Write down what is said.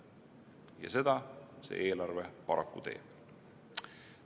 Ja seda see eelarve paraku teeb.